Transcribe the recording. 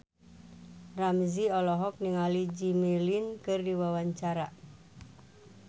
Ramzy olohok ningali Jimmy Lin keur diwawancara